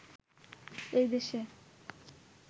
এই দেশে